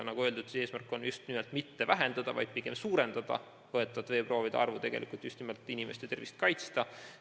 Nagu öeldud, eesmärk on mitte vähendada, vaid pigem suurendada võetavate veeproovide arvu, just nimelt inimeste tervist kaitsta.